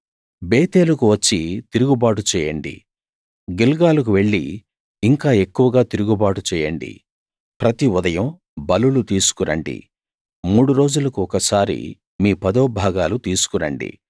బేతేలుకు వచ్చి తిరుగుబాటు చేయండి గిల్గాలుకు వెళ్లి ఇంకా ఎక్కువగా తిరుగుబాటు చేయండి ప్రతి ఉదయం బలులు తీసుకు రండి మూడు రోజులకు ఒకసారి మీ పదో భాగాలు తీసుకురండి